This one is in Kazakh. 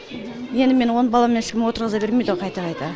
енді мені он баламен ешкім отырғыза бермейді ғо қайта қайта